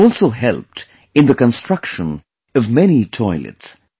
It has also helped in the construction of many toilets